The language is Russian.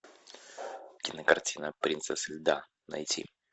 кинокартина принцесса льда найти